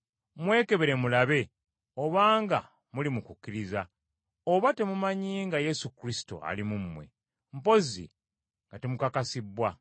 Mwekebere mulabe obanga muli mu kukkiriza; oba temumanyi nga Yesu Kristo ali mu mmwe? Mpozi nga temukakasibbwa.